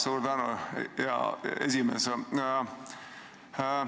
Suur tänu, hea esimees!